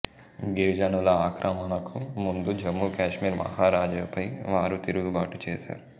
గిరిజనుల ఆక్రమణకు ముందు జమ్మూ కాశ్మీర్ మహారాజాపై వారు తిరుగుబాటు చేశారు